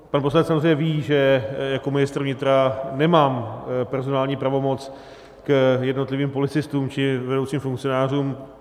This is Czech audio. Pan poslanec samozřejmě ví, že jako ministr vnitra nemám personální pravomoc k jednotlivým policistům či vedoucím funkcionářům.